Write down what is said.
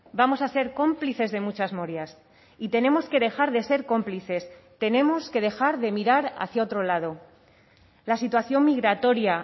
vamos a ser cómplices de muchas morias y tenemos que dejar de ser cómplices tenemos que dejar de mirar hacia otro lado la situación migratoria